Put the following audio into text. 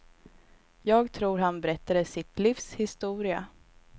Jag tror han berättade sitt livs historia.